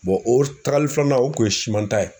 o tagali filanan o kun ye ta ye.